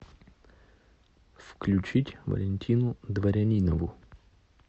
включить валентину дворянинову